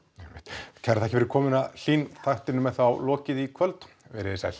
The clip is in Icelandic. einmitt kærar þakkir fyrir komuna Hlín þættinum er þá lokið í kvöld veriði sæl